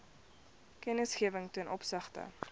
kennisgewing ten opsigte